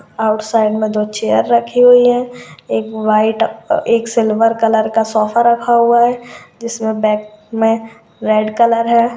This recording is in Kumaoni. आउटसाइड में दो चेयर रखी हुई है एक वाइट अ एक सिल्वर कलर का सोफा रखा हुआ है जिसमे बेक में रेड कलर है।